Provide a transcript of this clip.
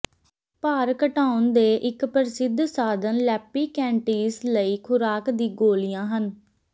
ਭਾਰ ਘਟਾਉਣ ਦੇ ਇੱਕ ਪ੍ਰਸਿੱਧ ਸਾਧਨ ਲਿੱਪੀਕੈਨਟੀਸ ਲਈ ਖੁਰਾਕ ਦੀ ਗੋਲ਼ੀਆਂ ਹਨ